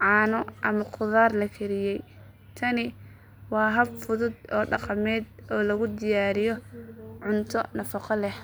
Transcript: caano ama khudaar la kariyay. Tani waa hab fudud oo dhaqameed oo lagu diyaariyo cunto nafaqo leh.